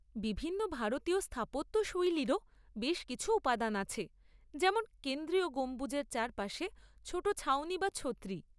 বিভিন্ন ভারতীয় স্থাপত্যশৈলীরও বেশ কিছু উপাদান আছে, যেমন কেন্দ্রীয় গম্বুজের চারপাশে ছোট ছাউনি বা ছত্রি।